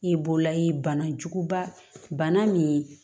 I bɔlayi banajuguba bana min